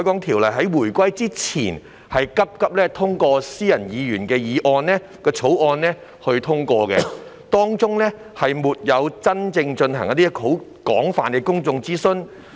《條例》是回歸前匆匆以議員私人草案形式通過，事前沒有真正進行過廣泛的公眾諮詢。